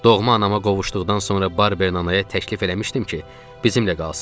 Doğma anama qovuşduqdan sonra Barbernanaya təklif eləmişdim ki, bizimlə qalsın.